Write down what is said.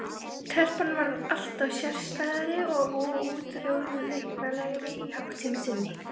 Telpan varð alltaf sérstæðari og óútreiknanlegri í háttsemi sinni.